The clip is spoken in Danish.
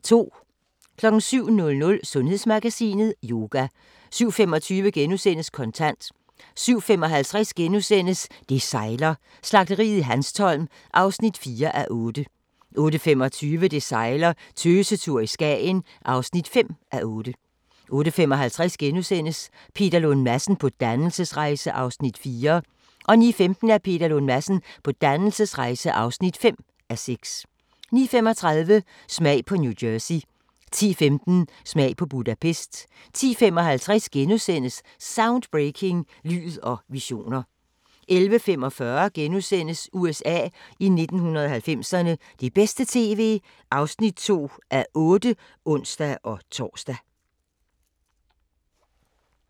07:00: Sundhedsmagasinet: Yoga 07:25: Kontant * 07:55: Det sejler - Slagteriet i Hanstholm (4:8)* 08:25: Det sejler - Tøsetur i Skagen (5:8) 08:55: Peter Lund Madsen på dannelsesrejse (4:6)* 09:15: Peter Lund Madsen på dannelsesrejse (5:6) 09:35: Smag på New Jersey 10:15: Smag på Budapest 10:55: Soundbreaking – Lyd og visioner * 11:45: USA i 1990'erne – det bedste tv (2:8)*(ons-tor)